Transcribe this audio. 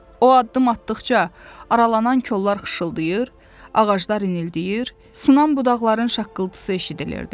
O addım atdıqca aralanan kollar xışıldayır, ağaclar inildəyir, sınan budaqların şaqqıltısı eşidilirdi.